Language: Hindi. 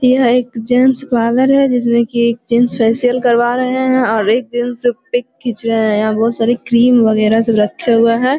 यह एक जेन्ट्स पार्लर है। जिसमे कि एक जेन्ट्स फेशियल करवा रहे है और एक जेन्ट्स पीक खिच रहे है। यहां बहुत सारे क्रीम वगैरा सब रखे हुए है।